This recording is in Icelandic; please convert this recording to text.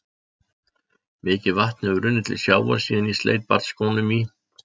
Mikið vatn hefur runnið til sjávar síðan ég sleit barnsskónum í